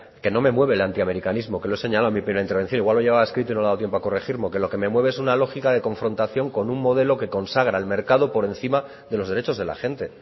que no me mueve el antiamericanismo que lo he señalado en mi primera intervención igual lo llevaba escrito y no le ha dado tiempo a corregirlo que lo que me mueve es una lógica de confrontación con un modelo que consagra el mercado por encima de los derechos de la gente